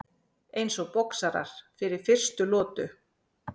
Eins og boxarar fyrir fyrstu lotu.